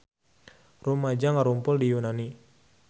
Rumaja ngarumpul di Yunani